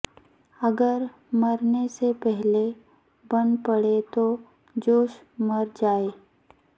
اگر مرنے سے پہلے بن پڑے تو جوش مر جائے